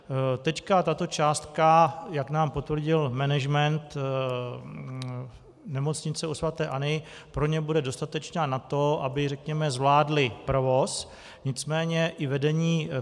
Teď tato částka, jak nám potvrdil management Nemocnice u sv. Anny, pro ně bude dostatečná na to, aby zvládli provoz, nicméně i vedení